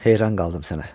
Heyran qaldım sənə.